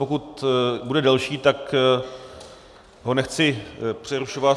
Pokud bude delší, tak ho nechci přerušovat...